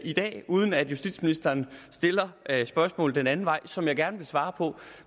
i dag uden at justitsministeren stiller spørgsmål den anden vej som jeg gerne vil svare på